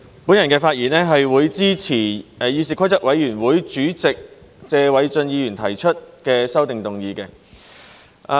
我發言支持議事規則委員會主席謝偉俊議員提出的擬議決議案。